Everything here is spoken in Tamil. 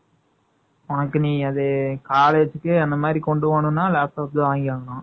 உனக்கு நீ அது, college க்கு, அந்த மாதிரி கொண்டு போகணும்ன்னா, laptop ல வாங்கியாகணும்